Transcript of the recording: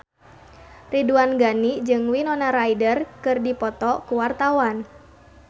Ridwan Ghani jeung Winona Ryder keur dipoto ku wartawan